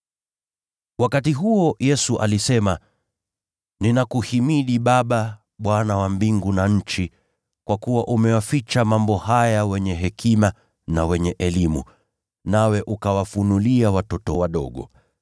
Wakati huo Yesu alisema, “Nakuhimidi Baba, Bwana wa mbingu na nchi, kwa kuwa umewaficha mambo haya wenye hekima na wenye elimu, nawe ukawafunulia watoto wadogo.